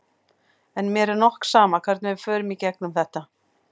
En mér er nokk sama hvernig við fórum í gegnum þetta.